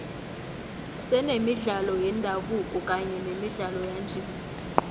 senemidlalo yendabuko kanye nemidlalo yanje